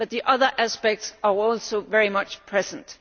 but the other aspects are also very much present.